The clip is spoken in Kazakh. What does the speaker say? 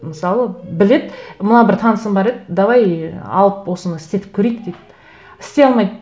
мысалы біледі мына бір танысым бар еді давай алып осыны істетіп көрейік дейді істей алмайды